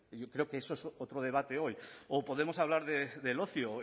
yo creo que eso es otro debate hoy o podemos hablar del ocio